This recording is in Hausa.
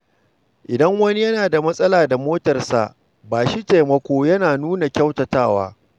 Idan wani yana da matsala da motarsa, ba shi taimako yana nuna kyautatawa.